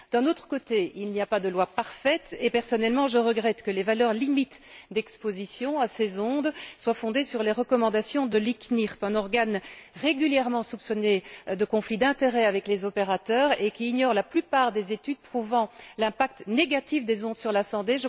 D'un autre côté, il n'y a pas de loi parfaite et, personnellement, je regrette que les valeurs limites d'exposition à ces ondes soient fondées sur les recommandations de l'ICNIRP, un organe régulièrement soupçonné de conflit d'intérêt avec les opérateurs et qui ignore la plupart des études prouvant l'impact négatif des ondes sur la santé.